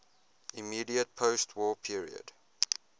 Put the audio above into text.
immediate postwar period